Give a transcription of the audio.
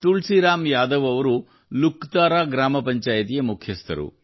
ತುಳಸಿರಾಮ್ ಯಾದವ್ ಅವರು ಲುಕತರಾ ಗ್ರಾಮ ಪಂಚಾಯಿತಿಯ ಮುಖ್ಯಸ್ಥರು